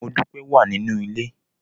Modúpẹ́ wà nínú ilé.